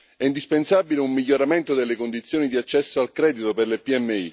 È indispensabile un miglioramento delle condizioni di accesso al credito per le PMI.